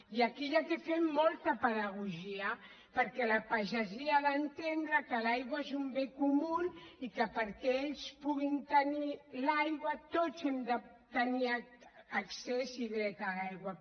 i aquí s’hi ha de fer molta pedagogia perquè la pagesia ha d’entendre que l’aigua és un bé comú i que perquè ells puguin tenir l’aigua tots hem de tenir accés i dret a l’aigua